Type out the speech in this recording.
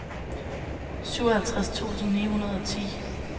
syvoghalvtreds tusind ni hundrede og ti